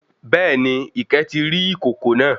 Béèni, Ìkẹ́ ti rí ìkòkò náà